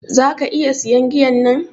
Zaka iƴa siyan giyan nan?